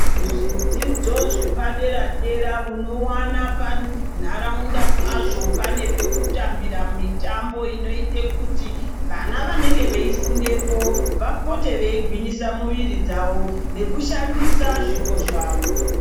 Zvidzidzo zvepadera dera unowana panharaunda paine pekutambira mitambo inoita kuti vana vanenge veifundepo vapote veigwinyisa muviri dzavo nekushandisa zvipo zvawo.